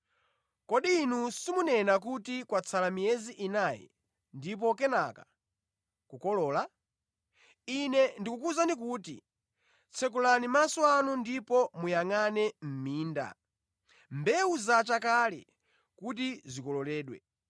Kodi inu simunena kuti, ‘Kwatsala miyezi inayi ndipo kenaka kukolola?’ Ine ndikukuwuzani kuti, tsekulani maso anu ndipo muyangʼane mʼminda! Mbewu zacha kale kuti zikololedwe.